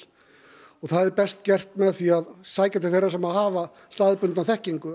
og það er best gert með því að sækja til þeirra sem hafa staðbundna þekkingu